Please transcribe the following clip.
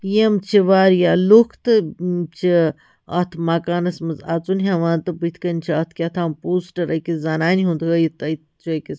--أکِس زنانہِ ہُنٛد ہٲوِتھ تہٕ چھ أکِس یِم چھ واریاہ لُکھ تہٕ یِم چھ اَتھ مکانس منٛز اَژُن ہٮ۪وان تہٕ بُتھہِ کنہِ چھ اَتھ کیٛاہتام پوسٹر